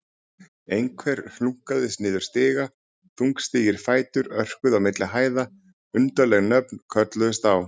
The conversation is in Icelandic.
Einhver hlunkaðist niður stiga, þungstígir fætur örkuðu á milli hæða, undarleg nöfn kölluðust á.